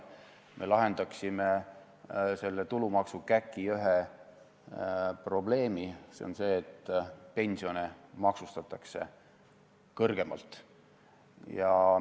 Me lahendaksime selle tulumaksukäki ühe probleemi, see on see, et pensione maksustatakse kõrgemalt.